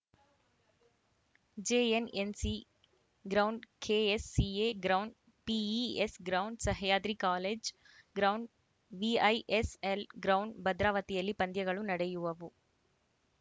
JNNC ground KSCA ground PES ground Sahyadri college ground VISL ground ಭದ್ರಾವತಿಯಲ್ಲಿ ಪಂದ್ಯಗಳು ನಡೆಯುವವು